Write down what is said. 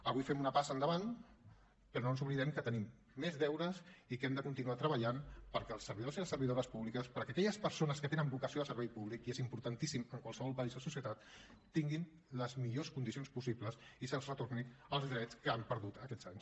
avui fem una passa endavant però no ens oblidem que tenim més deures i que hem de continuar treballant perquè els servidors i les servidores públics perquè aquelles persones que tenen vocació de servei públic i és importantíssim en qualsevol país o societat tinguin les millors condicions possibles i se’ls retornin els drets que han perdut aquests anys